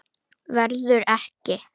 Verður ekki.